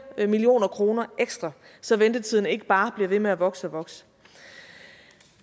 million kroner ekstra så ventetiden ikke bare bliver ved med at vokse og vokse